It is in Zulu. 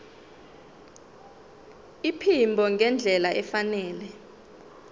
iphimbo ngendlela efanele